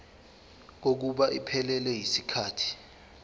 kokuba iphelele yisikhathi